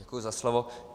Děkuji za slovo.